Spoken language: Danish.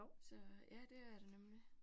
Så ja, det er det nemlig